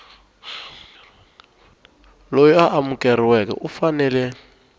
loyi a amukeriweke u fanele